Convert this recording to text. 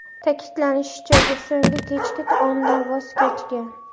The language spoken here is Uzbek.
Ta’kidlanishicha, u so‘nggi kechki taomdan voz kechgan.